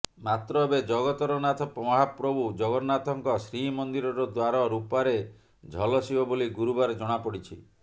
ମାତ୍ର ଏବେ ଜଗତରନାଥ ମହାପ୍ରଭୁ ଜଗନ୍ନାଥଙ୍କ ଶ୍ରୀମନ୍ଦିରର ଦ୍ୱାର ରୂପାରେ ଝଲସିବ ବୋଲି ଗୁରୁବାର ଜଣାପଡ଼ିଛି